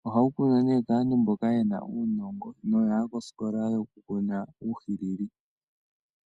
nohawu kunwa nee kaantu mboka yena uunongo na oya ya kosikola yo ku kuna uuhwilili.